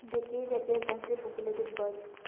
the gate atenjency populated birds.